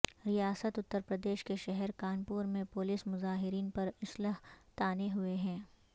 ریاست اترپردیش کے شہر کانپور میں پولیس مظاہرین پر اسلحہ تانے ہوئے ہے